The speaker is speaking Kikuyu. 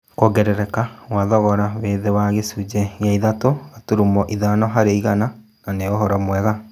Kũongerereka Kwa thogora wĩthĩ wa gĩcunjĩ gĩa ithatũ gaturumo ithano harĩ igana, nanĩ ũhoro mwega